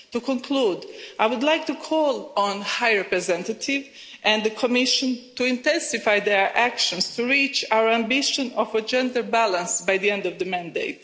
To conclude, I would like to call on the High Representative and the Commission to intensify their actions to reach our ambition of a gender balance by the end of the mandate.